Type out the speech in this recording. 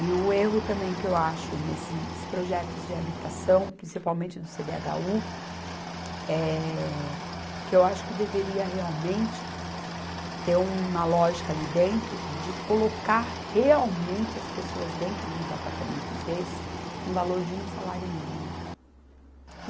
E o erro também que eu acho nesses projetos de habitação, principalmente do Cê dê agá u, é que eu acho que deveria realmente ter uma lógica ali dentro de colocar realmente as pessoas dentro de uns apartamentos desses no valor de um salário mínimo.